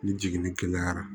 Ni jiginni kɛnɛyara